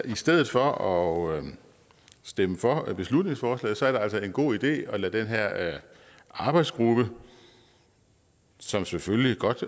i stedet for at stemme for beslutningsforslaget er det altså en god idé at lade den her arbejdsgruppe som selvfølgelig godt